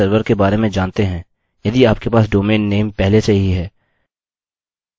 इस तरीके से मेरा ईमेल मेरे विश्वविद्यालय के माध्यम से भेजा जाता है